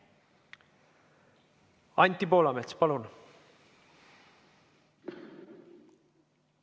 Anti Poolamets, palun!